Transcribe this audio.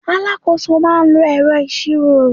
Alábojútó máa ń lo ẹ̀rọ ìṣirò.